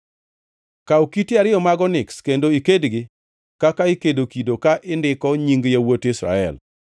“Kaw kite ariyo mag oniks kendo ikedgi kaka ikedo kido ka indiko nying yawuot Israel,